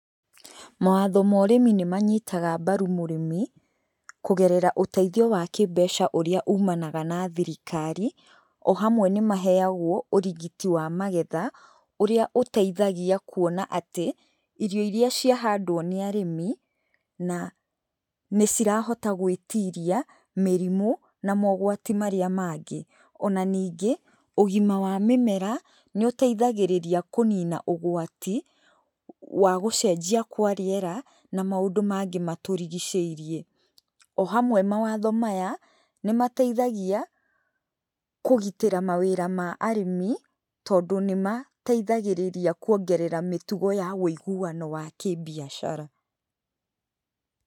Mawatho ma ũrĩmi nĩmanyitaga mbaru mũrĩmi, kũgerera ũteithio wa kĩmbeca ũrĩa ũmanaga na thirikari, o hamwe nĩmaheagwo ũrigiti wa magetha, ũrĩa ũteithagia kuona atĩ, irio iria ciahandwo nĩ arĩmi, na nĩcirahota gwĩtiria, mĩrimũ, na mogwati marĩa mangĩ. Ona ningĩ, ũgima wa mĩmera, nĩũteithagĩrĩria kũnina ũgwati, wa gũcenjia kwa rĩera, na maũndũ mangĩ matũrigicĩirie. O hamwe mawatho maya, nĩmateithagia, kũgitĩra mawĩra ma arĩmi, tondũ nĩmateithagĩrĩria kuongerera mĩtugo wa wĩiguano wa kĩbiacara.